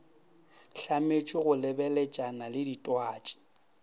hlametšwe go lebeletšana le ditwatši